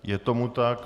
Je tomu tak.